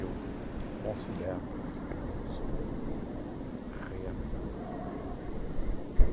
eu considero uma pessoa realizada.